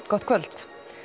gott kvöld